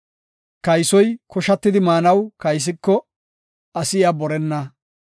Kaysoy koshatidi maanaw kaysiko, asi iya borenna.